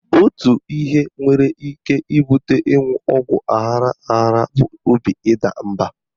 Otu ihe nwere ike ibute ịṅụ ọgwụ aghara aghara bụ obi ịda mba.